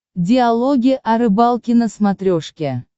диалоги о рыбалке на смотрешке